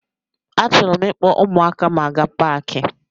Achọrọ m ịkpọ ụmụaka m aga paki.